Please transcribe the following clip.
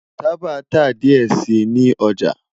Taba ta diẹ sii ni ọja